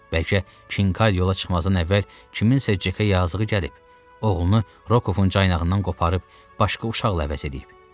Bəlkə Kinkayı yola çıxmazdan əvvəl kiminsə Cekə yazığı gəlib, oğlunu Rokovun caynağından qoparıb başqa uşaqla əvəz eləyib.